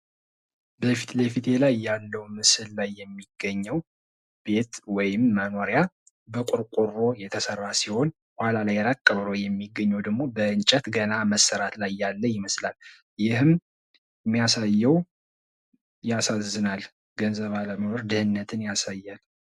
በፊት ለፊቴ ላይ ያለው ምስል ላይ የሚገኘው ቤት ወይም መኖሪያ በቆርቆሮ የተሰራ ሲሆን ፤ ኋላ ላይ ራቅ ብሎ የሚታይው ደሞ በእንጨት ገና በመሰራት ላይ ያለ ቤት ይመስላል ፤ ይህም የሚያሳየው ያሳዝናል ፤ ገንዘብ አለመኖርን፣ ድህነትን ያሳያል።